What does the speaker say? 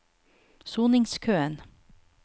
soningskøen